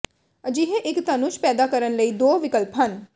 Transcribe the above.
ਅਜਿਹੇ ਇੱਕ ਧਨੁਸ਼ ਪੈਦਾ ਕਰਨ ਲਈ ਦੋ ਵਿਕਲਪ ਹਨ